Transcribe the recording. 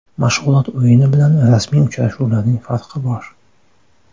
Mashg‘ulot o‘yini bilan rasmiy uchrashuvlarning farqi bor.